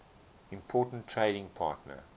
important trading partner